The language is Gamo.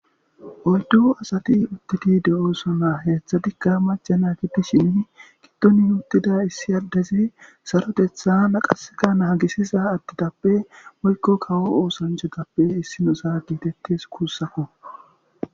oyddu asati uttidi de'osona heeththadikka macana gidishini giddoni uttida issi adezi sarotetha naqaseka naagisiza adetappe woykko kawo oosanchatappe issinoza giitettes guussako